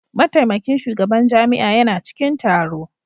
Mataimakin shugaban jami'a yana cikin taro.